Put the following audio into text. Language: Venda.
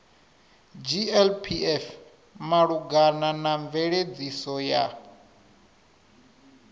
glpf malugana na mveledziso ya